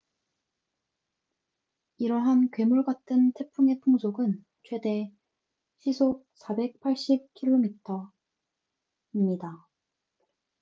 이러한 괴물 같은 태풍의 풍속은 최대 480km/h 133m/s 300mph입니다